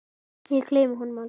Ég gleymi honum aldrei.